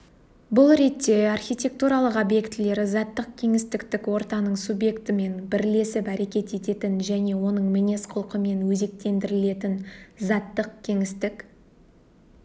бұл ретте архитектуралық объектілер заттық кеңістіктік ортаның субъектімен бірлесіп әрекет ететін және оның мінез құлқымен өзектендірілетін заттық-кеңістік